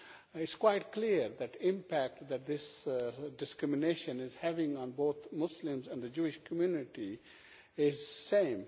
It is quite clear that the impact that this discrimination is having on both Muslims and the Jewish community is the same.